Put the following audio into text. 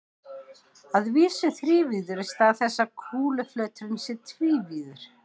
Að vísu þrívíður í stað þess að kúluflöturinn sé tvívíður.